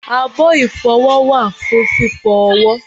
abọ́ ìfọwọ́ wà fún fífọ ọwọ́